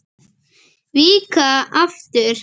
Víkka aftur.